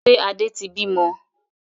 Ṣé Adé tí bí mọ?